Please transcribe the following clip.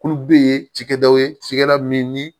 Kulu bɛ yen cikɛdaw ye cikɛda min ni